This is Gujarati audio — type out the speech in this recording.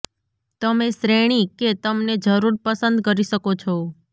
તમે શ્રેણી કે તમને જરૂર પસંદ કરી શકો છો